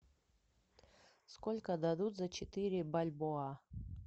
сколько дадут за четыре бальбоа